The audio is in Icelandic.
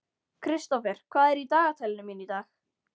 Kristófer, hvað er í dagatalinu mínu í dag?